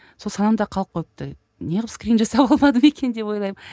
сол санамда қалып қойыпты неғып скрин жасап алмадым екен деп ойлаймын